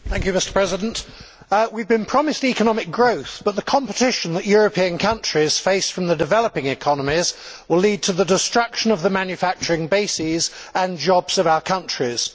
Mr President, we have been promised economic growth, but the competition that European countries face from the developing economies will lead to the destruction of the manufacturing bases and jobs of our countries.